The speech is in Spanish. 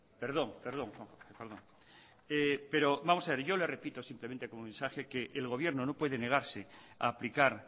perdón perdón pero vamos a ver yo le repito simplemente como mensaje que el gobierno no puede negarse a aplicar